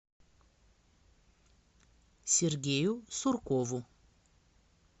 сергею суркову